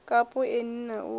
kapu eni na u ya